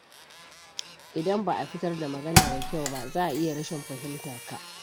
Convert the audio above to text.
Idan ba a fitar da magana da kyau ba, za a iya rashin fahimtarka.